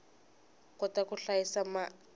kota ku hlayisa mai